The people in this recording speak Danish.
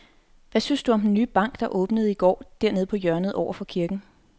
Hvad synes du om den nye bank, der åbnede i går dernede på hjørnet over for kirken?